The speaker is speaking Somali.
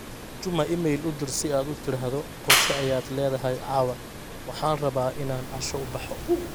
juma iimayl u dir si aad u tiraahdo qorshe ayaad leedahay caawa, waxaan rabaa inaan casho u baxo